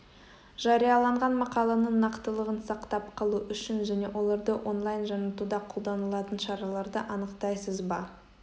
жарияланған мақаланың нақтылығын сақтап қалу үшін және оларды онлайн жаңартуда қолданылатын шараларды анықтайсыз ба